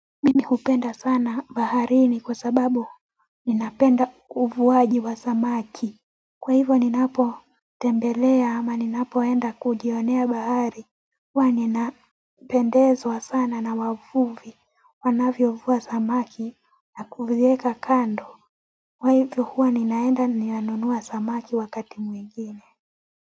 Mimi jupenda sana baharini kwa sababu ninapenda uvuaji wa samaki. Kwa hivyo ninapo tembelea ama ninapoenda kujionea bahari. Huwa ninapendezwa sana na wavuvi wanavyo vua samaki na kuvieka kando. Kwa hivyo huwa ninaenda ninanunua samaki wakati mwingine.